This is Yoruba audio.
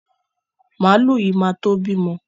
Màlúù yìí ma tó bímọ.